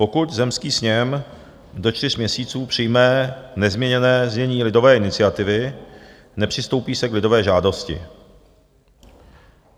Pokud zemský sněm do čtyř měsíců přijme nezměněné znění lidové iniciativy, nepřistoupí se k lidové žádosti.